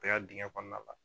dingɛ kɔnɔna la